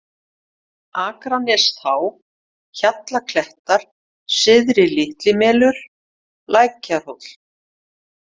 Akranestá, Hjallklettar, Syðri- Litlimelur, Tækjahóll